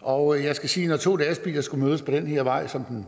og jeg skal sige at når to lastbiler skal mødes på den her vej som